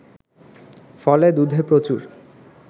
ফলে দুধে প্রচুর